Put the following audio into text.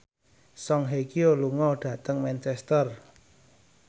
Song Hye Kyo lunga dhateng Manchester